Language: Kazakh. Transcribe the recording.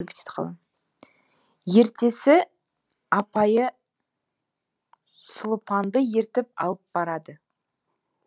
ертесі апайы сұлупанды ертіп алып барады